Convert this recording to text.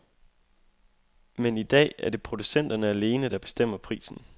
Men i dag er det producenterne alene, der bestemmer prisen.